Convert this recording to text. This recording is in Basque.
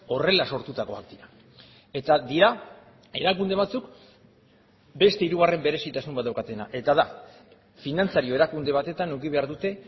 horrela sortutakoak dira eta dira erakunde batzuk beste hirugarren berezitasun bat daukatena eta da finantzario erakunde batetan eduki behar dute